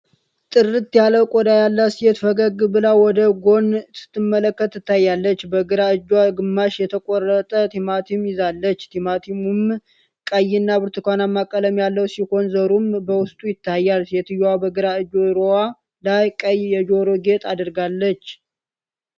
ጥርት ያለ ቆዳ ያላት ሴት ፈገግ ብላ ወደ ጎን ስትመለከት ትታያለች። በግራ እጇ ግማሽ የተቆረጠ ቲማቲም ይዛለች፣ ቲማቲሙም ቀይና ብርቱካናማ ቀለም ያለው ሲሆን ዘሩም በውስጡ ይታያል። ሴትየዋ በግራ ጆሮዋ ላይ ቀይ የጆሮ ጌጥ አድርጋለች፤